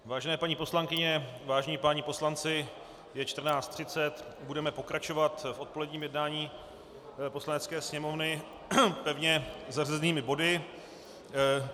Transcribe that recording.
Vážené paní poslankyně, vážení páni poslanci, je 14.30, budeme pokračovat v odpoledním jednání Poslanecké sněmovny pevně zařazenými body.